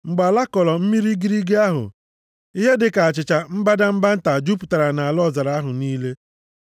Mgbe ala kọrọ mmiri igirigi ahụ, ihe dịka achịcha mbadamba nta jupụtara nʼala ọzara ahụ niile.